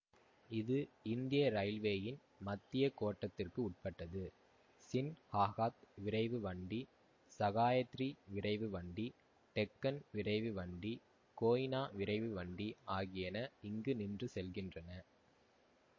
இது இந்திய ரயில்வேயின் மத்திய கோட்டத்திற்கு உட்பட்டது சின்ஹாகாத் விரைவுவண்டி சகாயத்ரி விரைவுவண்டி டெக்கன் விரைவுவண்டி கோய்னா விரைவுவண்டி ஆகியன இங்கு நின்று செல்கின்றன